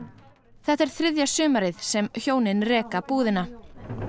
þetta er þriðja sumarið sem hjónin reka búðina